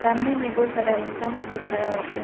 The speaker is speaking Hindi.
सामने में बहुत सारा इंसान लोग भी खड़ा होके है।